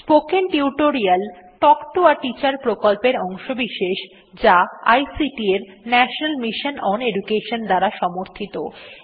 spoken tutorial talk to a teacher প্রকল্পের অংশবিশেষ যা আইসিটি এর ন্যাশনাল মিশন ওন এডুকেশন দ্বারা সাহায্যপ্রাপ্ত